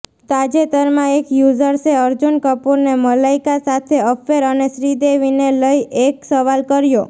તાજેતરમાં એક યૂઝર્સે અર્જુન કપૂરને મલાઈકા સાથે અફેર અને શ્રીદેવીને લઈ એક સવાલ કર્યો